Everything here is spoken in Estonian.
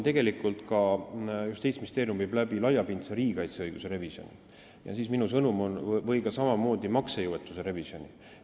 Tegelikult teeb Justiitsministeerium ka laiapindse riigikaitse õiguse revisjoni, samamoodi maksejõuetuse revisjoni.